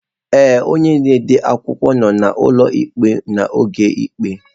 Ee, onye ode akwụkwọ nọ n'ụlọ ikpe n'oge ikpe.